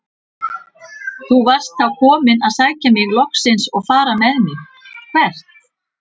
Þú varst þá kominn að sækja mig loksins og fara með mig- hvert?